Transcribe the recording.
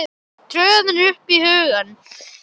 tröðin upp í hugann.